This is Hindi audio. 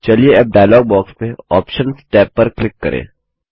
चलिए अब डायलॉग बॉक्स में आप्शंस टैब पर क्लिक करें